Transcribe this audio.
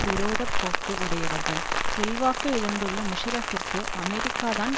விரோத போக்கு உடையவர்கள் செல்வாக்கு இழந்துள்ள முஷாரஃப்பிற்கு அமெரிக்காதான்